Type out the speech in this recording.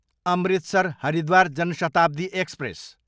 Amritsar, Haridwar Jan Shatabdi express